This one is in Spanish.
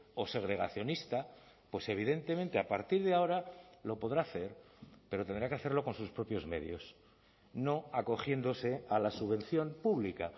o segregacionista pues evidentemente a partir de ahora lo podrá hacer pero tendrá que hacerlo con sus propios medios no acogiéndose a la subvención pública